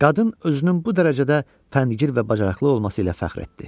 Qadın özünün bu dərəcədə fəndgir və bacarıqlı olması ilə fəxr etdi.